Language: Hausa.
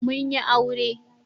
Mun yi aure.